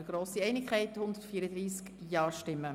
Wir haben grosse Einigkeit: 134 Ja-Stimmen.